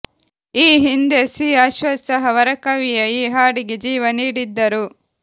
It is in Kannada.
ಈ ಹಿಂದೆ ಸಿ ಅಶ್ವತ್ ಸಹ ವರಕವಿಯ ಈ ಹಾಡಿಗೆ ಜೀವ ನೀಡಿದ್ದರು